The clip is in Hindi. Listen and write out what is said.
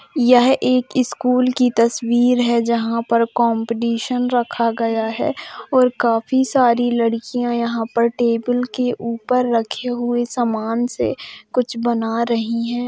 यह एक स्कूल की तस्वीर है जहाँ पर कॉम्पटीशन रखा गया है और काफी सारी लड़कियां यहाँ पर टेबल के ऊपर रखे हुए सामान से कुछ बना रही हैं।